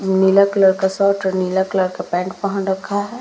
नीला colour का shirt और नीला कलर का पैंट पहन रखा है।